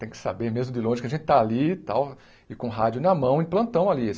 Tem que saber mesmo de longe que a gente está ali e tal, e com rádio na mão em plantão ali.